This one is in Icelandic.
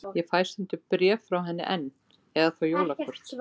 Ég fæ stundum bréf frá henni enn, eða þá jólakort.